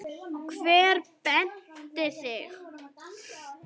Hver benti á mig?